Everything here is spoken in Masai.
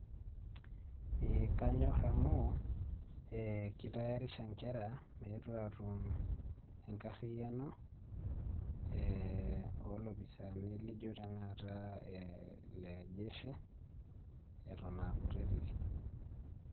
ee kanyor amu kitayaaraisha ee nkera meetu aatum enkariyiano ee oolopisaani laijo tena kata ile jeshi, eton aa kutitik.